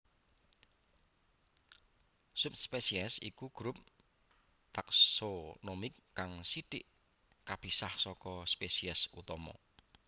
Subspesies iku grup taksonomik kang sithik kapisah saka spesies utama